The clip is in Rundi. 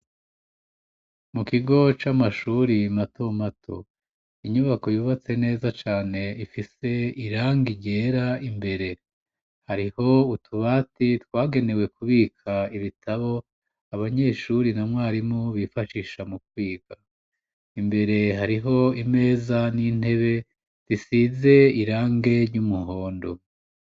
Mu kigo c'amashuri mato mato inyubako yubatse neza cane ifise irangi ryera imbere. Hariho utubati twagenewe kubika ibitabo abanyeshuri na mwarimu bifashisha mu kwiga. Imbere hariho imeza n'intebe zisize irangi ry'umuhondo.